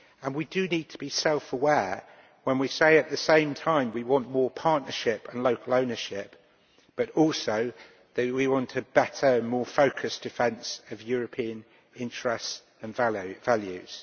We need to be self aware when we say at the same time that we want more partnership and local ownership but also that we want a better, more focused, defence of European interests and values.